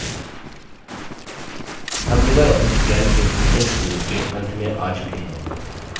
हम LibreOffice calc के spoken tutorial के अंत में आ चुके हैं